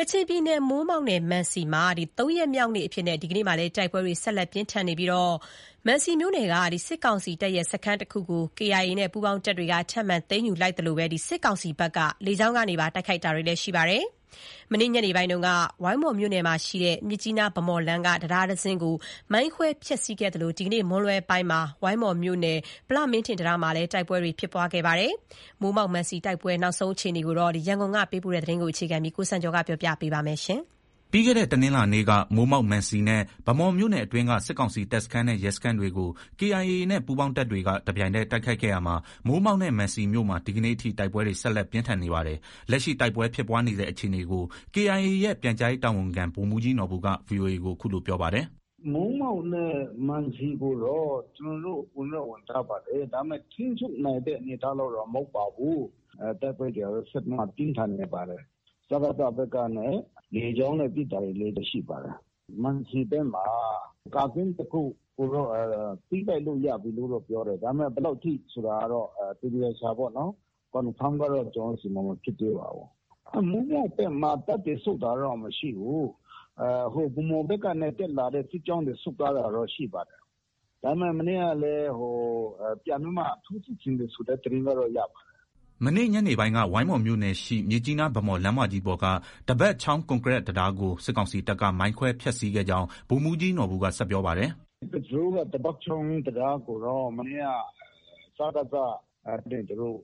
ကချင်ပြည်နယ်၊ မိုးမောက်နဲ့ မံစီမှာ ၃ရက်မြောက်နေ့အဖြစ် တိုက်ပွဲတွေ ဆက်လက်ပြင်းထန်နေပြီး မံစီမြို့နယ်က စစ်ကောင်စီတပ်ရဲ့ စခန်းတခုကို KIA ပူးပေါင်းတပ်တွေက ထပ်မံသိမ်းယူလိုက်သလို စစ်ကောင်စီဘက်က လေကြောင်းကပါ တိုက်ခိုက်နေပါတယ်။ မနေ့ညနေပိုင်းက ဝိုင်းမော်မြို့နယ်ရှိ မြစ်ကြီးနား- ဗန်းမော်လမ်းက တံတားတစင်းကို မိုင်းခွဲ ဖျက်ဆီးခဲ့သလို ဒီနေ့ မွန်းလွဲပိုင်းမှာ ဝိုင်းမော်မြို့နယ် ဗလမင်းထင်တံတားမှာ တိုက်ပွဲဖြစ်ပွားတာတွေ ရှိနေပါတယ်။ မိုးမောက်၊ မံစီတိုက်ပွဲအခြေအနေအကြောင်း ရန်ကုန်က ပေးပုိ့တဲ့သတင်းကို အခြေခံပြီး ကိုစံကျော်က တင်ပြပေးပါမယ်။ ပြီးခဲ့တဲ့ တနင်္လာနေ့က မိုးမောက်၊ မံစီနဲ့ ဗန်းမော်မြို့နယ်အတွင်းက စစ်ကောင်စီတပ်စခန်းနဲ့ ရဲစခန်းတွေကို KIA နဲ့ ပူးပေါင်းတပ်တွေက တပြိုင်တည်းတိုက်ခိုက်ခဲ့ရာမှာ မိုးမောက်နဲ့ မံစီမြို့မှာ ဒီကနေ့ထိ တိုက်ပွဲတွေ ဆက်လက် ပြင်းထန်နေပါတယ်။ လက်ရှိ တိုက်ပွဲဖြစ်ပွားနေဆဲအခြေအနေကို KIA ရဲ့ ပြန်ကြားရေးတာဝန်ခံ ဗိုလ်မှုးကြီးနော်ဘူက VOA ကို အခုလို ပြောပါတယ်။ “ မိုးမောက်နဲ့ မံစီကိုတော့ ကျနော်တို့ ဝင်တော့ ဝင်ထားပါတယ်။ ဒါပေမဲ့ ထိန်းချုပ်နိုင်တဲ့ အနေအထား လောက်တော့ မဟုတ်ပါဘူး။ တိုက်ပွဲတွေကတော့ ဆက်ပြီး ပြင်းထန်နေပါတယ်။ စကစ ဘက်ကနဲ့ လေကြောင်းနဲ့ ပစ်တာတွေလည်း ရှိပါတယ်။ မံစီဘက်မှာ ကာကင်း တခုကိုတော့ သိမ်းပိုက်လို့ ရပြီလို့တော့ ပြောတယ်။ ဒါပေမဲ့ ဘယ်လောက်ထိဆိုတာကိုတော့ သေသေချာချာပေါ့နော် Confirm ကတော့ မဖြစ်သေးပါဘူး။ မိုးမောက်ဘက်မှာ တပ်တွေဆုတ်တာကတော့ မရှိဘူး။ ဗန်းမော်ဘက်က တက်လာတဲ့ စစ်ကြောင်းတွေ ဆုတ်သွားတာတော့ ရှိပါတယ်။ ဒါပေမဲ့ မနေ့ကလည်း ပြန်ပြီးမှ ထိုးစစ်ဆင်တဲ့သတင်းကတော့ ရပါတယ်။ ” မနေ့ညနေပိုင်းက ဝိုင်းမော်မြို့နယ်ရှိ မြစ်ကြီးနား-ဗန်းမော် လမ်းမကြီးပေါ်က ဒဘတ်ချောင်း ကွန်ကရစ်တံတားကို စစ်ကောင်စီတပ်က မိုင်းခွဲ ဖျက်ဆီးခဲ့ကြောင်း ဗိုလ်မှုးကြီးနော်ဘူက ဆက်ပြောပါတယ်။ “ ကဇူးနဲ့ ဒဘတ်ချောင်း တံတားကိုတော့ မနေ့က စကစကနေ သူတို့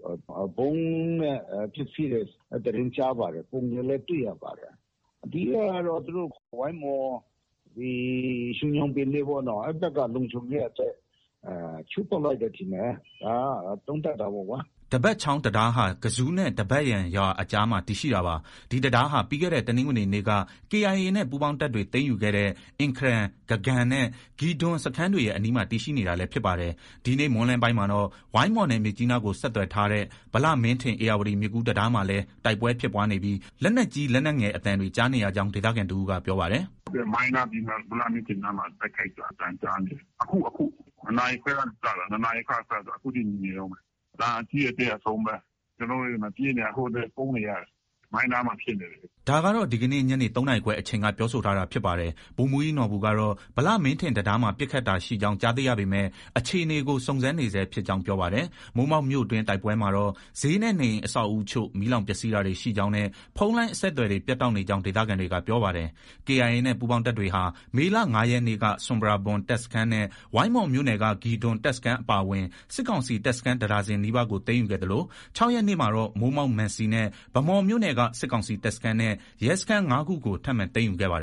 ဗုံးနဲ့ ဖျက်ဆီးတယ်ဆိုတဲ့ သတင်းကြားပါတယ်။ ပုံတွေလည်း တွေ့ရပါတယ်။ အဓိကကတော့ သူတို့ ဝိုင်းမော်၊ ရွှေညောင်ပင်ပေါ့နော်။ အဲဒီဘက်က လုံခြုံရေးအတွက် ချိုးဖျက်လိုက်တယ်ထင်တယ်။ ဒါက သုံးသပ်တာပေါ့ကွာ။” ဒဘတ်ချောင်းတံတားဟာ ကဇူးနဲ့ ဒဘတ်ယန်ရွာအကြားမှာ တည်ရှိတာပါ။ ဒီတံတားဟာ ပြီးခဲ့တဲ့ တနင်္ဂနွေနေ့က KIA နဲ့ ပူးပေါင်းတပ်တွေ သိမ်းယူခဲ့တဲ့ အင်ခရန်၊ ဂဂမ်နဲ့ ဂီဒွန် စခန်းတွေရဲ့ အနီးမှာ တည်ရှိနေတာလည်း ဖြစ်ပါတယ်။ ဒီနေ့ မွန်းလွဲပိုင်းမှာတော့ ဝိုင်းမော်နဲ့ မြစ်ကြီးနားကို ဆက်သွယ်ထားတဲ့ ဗလမင်းထင် ဧရာဝတီမြစ်ကူး တံတားမှာလည်း တိုက်ပွဲ ဖြစ်ပွားနေပြီး လက်နက်ကြီး၊ လက်နက်ငယ်အသံတွေ ကြားနေရကြောင်း ဒေသခံတဦးက ပြောပါတယ်။ “ ဟုတ်တယ်။ မိုင်းနား၊ ဗလမင်းထင်နားမှာ တိုက်ခိုက်တာ အသံကြားနေတယ်။ အခု အခု၊ ၂နာရီခွဲ ကနေ စတာ အခုထိ မြည်နေတုံးပဲ။ အသံအကြီးအသေး အစုံပဲ။ ကျနော်တို့လည်း ဒီမှာ ပြေးနေရတာ။ အခုလည်း ပုန်းနေရတယ်။ မိုင်းနားမှာ ဖြစ်နေတယ်။” ဒါကတော့ ဒီကနေ့ ညနေ ၃နာရီခွဲအချိန်က ပြောဆိုထားတာဖြစ်ပါတယ်။ ဗိုလ်မှုးကြီးနော်ဘူကတော့ ဗလမင်းထင်တံတားမှာ ပစ်ခတ်တာရှိကြောင်း ကြားသိရပေမဲ့ အခြေအနေကို စုံစမ်းနေဆဲ ဖြစ်ကြောင်း ပြောပါတယ်။ မိုးမောက်မြို့တွင်း တိုက်ပွဲမှာတော့ ဈေးနဲ့ နေအိမ်အဆောက်အဦအချို့ မီးလောင်ပျက်ဆီးတာတွေ ရှိကြောင်းနဲ့ ဖုန်းလိုင်းအဆက်အသွယ်တွေ ပြတ်တောက်နေကြောင်း ဒေသခံတွေက ပြောပါတယ်။ KIA နဲ့ ပူးပေါင်းတပ်တွေဟာ မေလ ၅ရက်နေ့က ဆွမ်ပရာဘွမ် တပ်စခန်းနဲ့ ဝိုင်းမော်မြို့နယ်က ဂီဒွန် တပ်စခန်းအပါအဝင် စစ်ကောင်စီ တပ်စခန်း တဒါဇင်နီးပါးကို သိမ်းယူခဲ့သလို ၆ရက်နေ့မှာတော့ မိုးမောက်၊ မံစီနဲ့ ဗန်းမော်မြို့နယ်က စစ်ကောင်စီ တပ်စခန်းနဲ့ ရဲစခန်း ၅ခုကို ထပ်မံ သိမ်းယူခဲ့ပါတယ်။